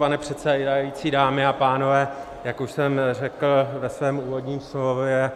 Pane předsedající, dámy a pánové, jak už jsem řekl ve svém úvodním slově,